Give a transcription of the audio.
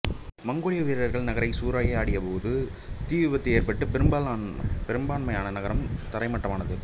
மங்கோலிய வீரர்கள் நகரை சூறையாடியபோது தீ விபத்து ஏற்பட்டு பெரும்பான்மையான நகரம் தரைமட்டமானது